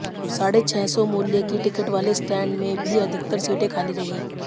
साढ़े छह सौ मूल्य की टिकट वाले स्टैंड में भी अधिकतर सीटें खाली रही